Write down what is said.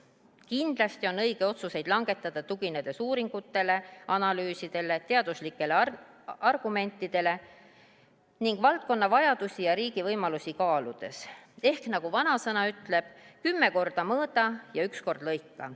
Kindlasti on õige otsuseid langetada, tuginedes uuringutele, analüüsidele, teaduslikele argumentidele ning kaaludes valdkonna vajadusi ja riigi võimalusi, ehk nagu vanasõna ütleb, kümme korda mõõda ja üks kord lõika.